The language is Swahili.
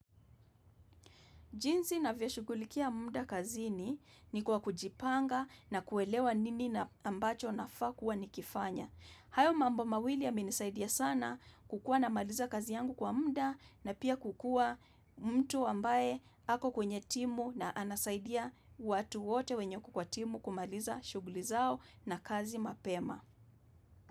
Jinsi navyoshughulikia muda kazini ni kwa kujipanga na kuelewa nini na ambacho na faa kuwa nikifanya. Hayo mambo mawili yamenisaidia sana kukuwa namaliza kazi yangu kwa muda na pia kukuwa mtu ambaye ako kwenye timu na anasaidia watu wote wenye wako kwa timu kumaliza shuguli zao na kazi mapema.